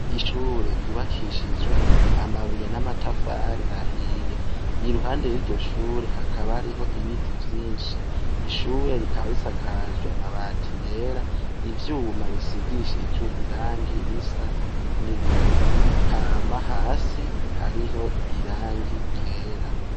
Ishure ryubakishijwe amabuye n'amatafari ahiye iruhande y'iryo shure hakaba ariho ibiti vyinshi ishure rikaba risakajwe amabati yera ivyuma bisigishijwe irangi risa n'ibivu hama hasi hariho irangi ryera.